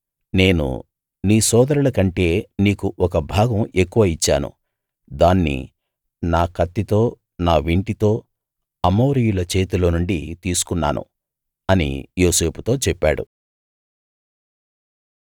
నేను నీ సోదరులకంటే నీకు ఒక భాగం ఎక్కువ ఇచ్చాను దాన్ని నా కత్తితో నా వింటితో అమోరీయుల చేతిలో నుండి తీసుకున్నాను అని యోసేపుతో చెప్పాడు